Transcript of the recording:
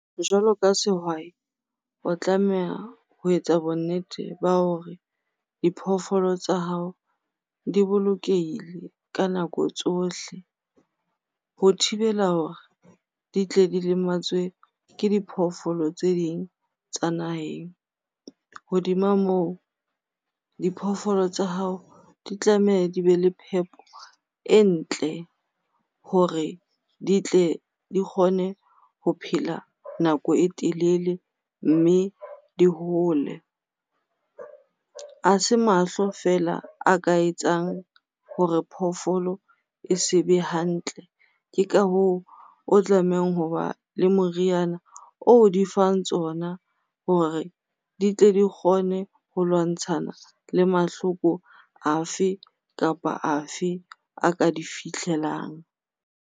Jwalo ka sehwai, o tlameha ho etsa bonnete ba hore diphoofolo tsa hao di bolokehile ka nako tsohle ho thibela hore di tle di lematswe ke diphoofolo tse ding tsa naheng. Hodima moo, diphoofolo tsa hao di tlameha di be le phepo e ntle hore ditle di kgone ho phela nako e telele mme di hole. Ha se mahlo fela a ka etsang hore phofolo e sebe hantle. Ke ka hoo, o tlamehang hoba le moriana oo di fang tsona hore di tle di kgone ho lwantshana le mahloko afe kapa afe a ka di fihlelang.